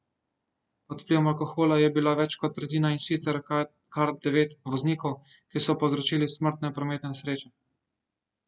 Pod vplivom alkohola je bila več kot tretjina in sicer kar devet voznikov, ki so povzročili smrtne prometne nesreče.